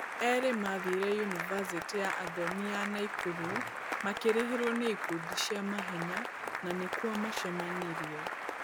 Erĩ mathire unibasĩtĩ ya Athomi ya Naikuru makĩrĩhĩrwo nĩ ikundi cia mahenya na nĩ kuo macemanirie.